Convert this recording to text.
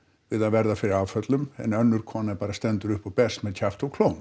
við að verða fyrir áföllum en önnur kona bara stendur upp og berst með kjafti og klóm